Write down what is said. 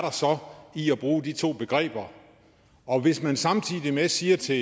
i at bruge de to begreber og hvis man samtidig med siger til